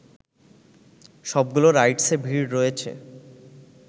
সবগুলো রাইডসে ভিড় রয়েছে